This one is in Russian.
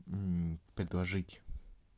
предложить